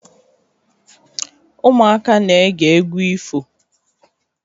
Ụmụaka na-ege egwu ifo.